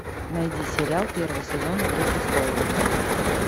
найди сериал первый сезон игры престолов